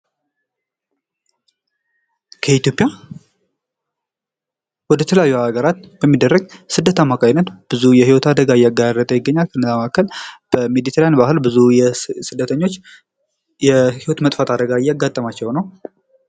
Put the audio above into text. ከኢትዮጵያ ወደ ተለያዩ ሀገራት በሚደረግ ስደት አማካኝነት ብዙ የህይወት አደጋ እያጋጠመ ይገኛል ። ከእነዛ መካከል በሜዲትራኒያን ባህር ብዙ ስደተኞች የህይወት መጥፋት አደጋ እያጋጠማቸው ነው ።